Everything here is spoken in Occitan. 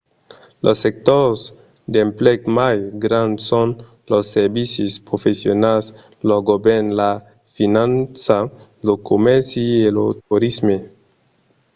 los sectors d'emplec mai grands son los servicis professionals lo govèrn la finança lo comèrci e lo torisme